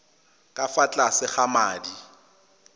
ka fa tlase ga madi